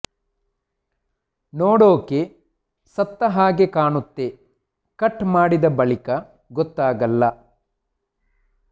ನೋಡೋಕೆ ಸತ್ತ ಹಾಗೆ ಕಾಣುತ್ತೆ ಕಟ್ ಮಾಡಿದ ಬಳಿಕ ಗೊತ್ತಾಗಲ್ಲ